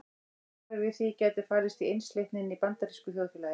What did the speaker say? Svarið við því gæti falist í einsleitninni í bandarísku þjóðfélagi.